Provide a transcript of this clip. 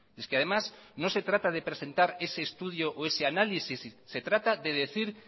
es que además no se trata de presentar ese estudio o ese análisis se trata de decir